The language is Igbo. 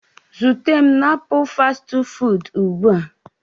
Zute m na Apul fastị fụụdụ ugbu a.